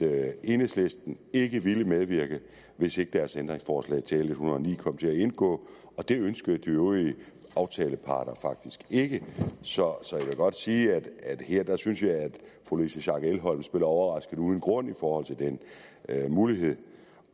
at enhedslisten ikke ville medvirke hvis ikke deres ændringsforslag til l en hundrede og ni kom til at indgå og det ønskede de øvrige aftalepartier faktisk ikke så så jeg vil godt sige at jeg synes at fru louise schack elholm spiller overrasket uden grund i forhold til den mulighed